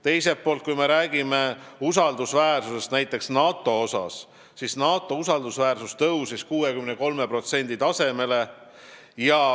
Teiselt poolt, kui me räägime usaldusväärsusest, siis näiteks NATO usaldusväärsus on tõusnud 63% tasemele.